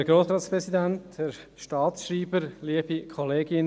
Kommissionssprecher der SAK.